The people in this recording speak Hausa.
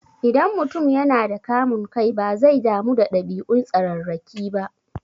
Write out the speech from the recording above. Idan mutum yana da kamun kai, bazai damu da ɗabi'un tsararraki ba.